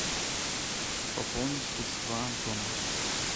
пополнить средства антона